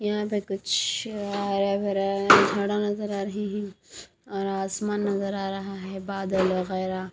यहां पे कुछ हरा भरा झाड़ा नजर आ रहे हैं और आसमान नजर आ रहा है बादल वगैरह।